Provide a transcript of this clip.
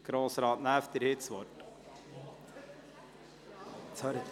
Grossrat Näf, Sie haben das Wort.